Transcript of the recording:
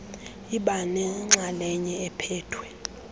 iba nenxalenye ephethwe